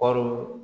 Kɔɔri